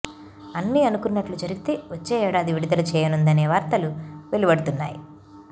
అన్నీ అనుకున్నట్లు జరిగితే వచ్చే ఏడాది విడుదల చేయనుందనే వార్తలు వెలువడుతున్నాయి